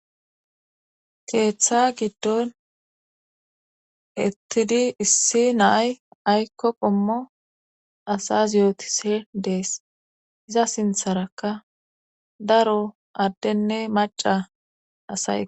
keeththa giddon ettidi issi naay aykko qommo asas yootise dees iza sintharakka daro addenne maca asaye